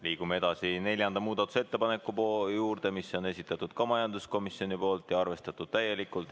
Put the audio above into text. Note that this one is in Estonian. Liigume edasi neljanda muudatusettepaneku juurde, mille on esitatud ka majanduskomisjon ja mida ta on samuti arvestatud täielikult.